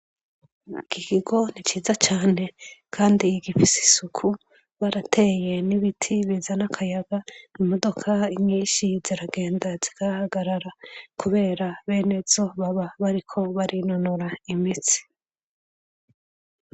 Iki kigo ni ciza cane, kandi igifise isuku, barateye n'ibiti bizana akayaga, imodoka nyinshi ziragenda zikahahagarara. Kubera bene zo baba bariko barinonora imitsi.